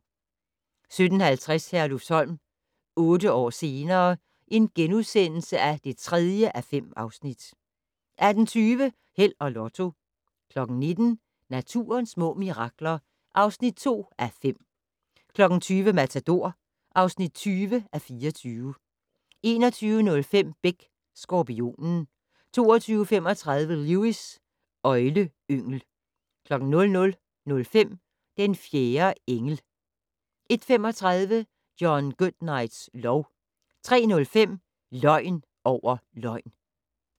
17:50: Herlufsholm - otte år senere ... (3:5)* 18:20: Held og Lotto 19:00: Naturens små mirakler (2:5) 20:00: Matador (20:24) 21:05: Beck: Skorpionen 22:35: Lewis: Øgleyngel 00:05: Den fjerde engel 01:35: John Goodnights lov 03:05: Løgn over løgn